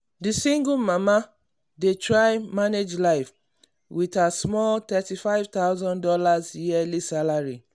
the single mama dey try manage life with her small thirty five thousand dollars yearly salary.